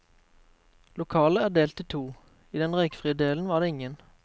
Lokalet er delt i to, i den røykfrie delen var det ingen.